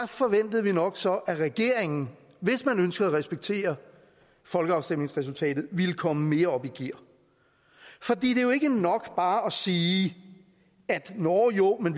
forventede vi nok så at regeringen hvis man ønskede at respektere folkeafstemningsresultatet ville komme mere op i gear for det er jo ikke nok bare at sige nåh jo men